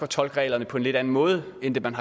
tolke reglerne på en lidt anden måde end det man